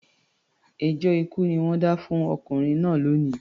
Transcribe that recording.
Ẹjọ́ ikú ni wọ́n dá fún ọkùnrin náà lónìí